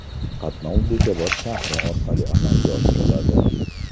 Qatnov Bekobod shahri orqali amalga oshiriladi.